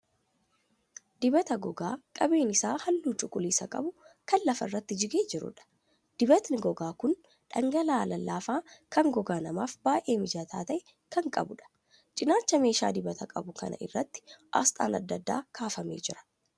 Dibata gogaa qabeen isaa halluu cuquliisa qabu kan lafa irratti jigee jiruudha. Dibatni gogaa kun dhangala'aa lallaafaa kan gogaa namaaf baay'ee mijataa ta'e kan qabuudha. Cinaacha meeshaa dibata qabu kanaa irratti asxaan adda addaa kaafamee jira.